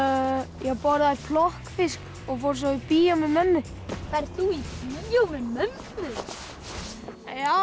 ég borðaði plokkfisk og fór svo í bíó með mömmu ferð þú í bíó með mömmu þinni já